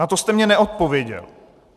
Na to jste mně neodpověděl.